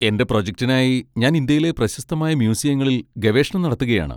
എന്റെ പ്രൊജക്റ്റിനായി ഞാൻ ഇന്ത്യയിലെ പ്രശസ്തമായ മ്യൂസിയങ്ങളിൽ ഗവേഷണം നടത്തുകയാണ്.